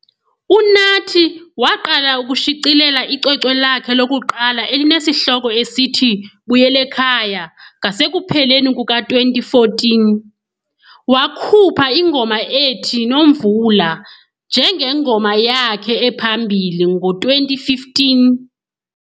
UNathi waqala ukushicilela icwecwe lakhe lokuqala elinesihloko esithi Buyelekhaya ngasekupheleni kuka-2014, wakhupha ingoma ethi " Nomvula " njengengoma yakhe ephambili ngo-2015.